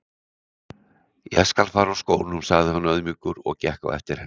Ég skal fara úr skónum sagði hann auðmjúkur og gekk á eftir henni inn.